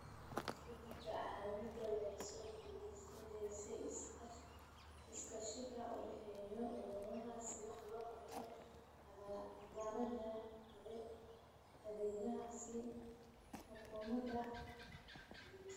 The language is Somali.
Isbeddelka cimiladu waxay soo dedejinaysaa iskaashiga u dhexeeya quruumaha si wax looga qabto caqabadaha deegaanka ee xuduudaha ka gudba.